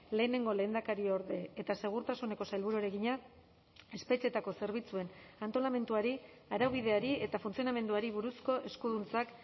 lehenengo lehendakariorde eta segurtasuneko sailburuari egina espetxeetako zerbitzuen antolamenduari araubideari eta funtzionamenduari buruzko eskuduntzak